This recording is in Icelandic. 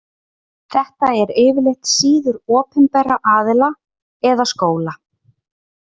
Þetta eru yfirleitt síður opinberra aðila eða skóla.